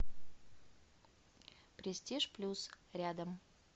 престиж плюс рядом